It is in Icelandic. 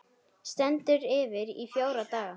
Stendur yfir í fjóra daga.